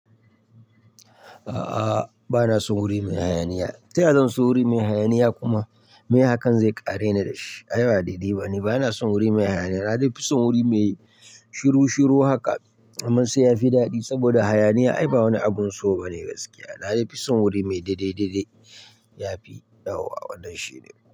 A'a, ba na son wuri mai hayaniya. Ta ya zan so wuri mai hayaniya kuma meye hakan zai ƙare ni da shi. Ai ba daidai ba ne. Ba na son wuri mai hayaniya. Na dai fi son wuri mai shiru shiru haka. Amma sai ya fi daɗi saboda hayaniya ai ba wani abun so ba ne gaskiya. Na dai fi son wuri mai daidai daidai. Ya fi dawowa wannan shine.